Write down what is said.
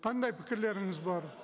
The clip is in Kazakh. қандай пікірлеріңіз бар